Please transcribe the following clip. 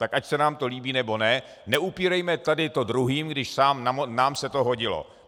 Tak ať se nám to líbí, nebo ne, neupírejme tady to druhým, když nám se to hodilo.